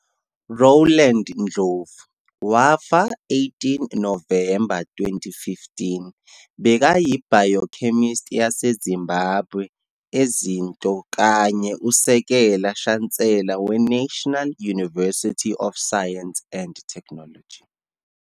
Rowland Ndlovu, wafa 18 Novemba 2015, bekayi-Biochemist yade Zimbabwe ezinto kanye Usekela-Shansela we-National University of Science and Technology.